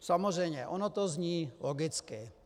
Samozřejmě, ono to zní logicky.